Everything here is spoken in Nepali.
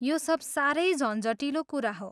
यो सब साह्रै झन्झटिलो कुरा हो।